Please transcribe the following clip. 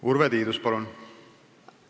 Urve Tiidus, palun!